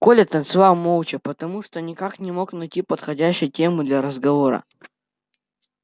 коля танцевал молча потому что никак не мог найти подходящей темы для разговора